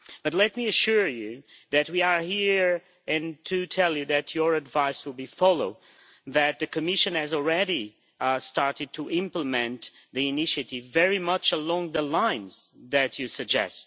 But let me assure you that we are here to tell you that your advice will be followed, that the Commission has already started to implement the initiative very much along the lines that you suggest.